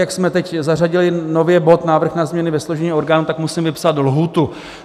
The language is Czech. Jak jsme teď zařadili nově bod Návrh na změny ve složení orgánů, tak musím vypsat lhůtu.